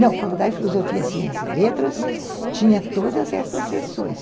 Não, a faculdade de filosofia, ciências e letras, tinha todas essas sessões.